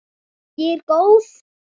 Og ég er góð.